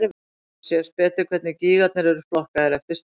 Þá sést betur hvernig gígarnir eru flokkaðir eftir stærð.